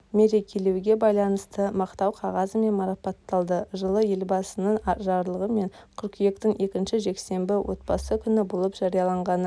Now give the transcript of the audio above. мерекелеуге байланысты мақтау қағазымен марапатталды жылы елбасының жарлығымен қыркүйектің екінші жексенбісі отбасы күні болып жарияланғаны